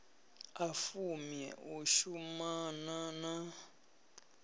a fumi u shumana na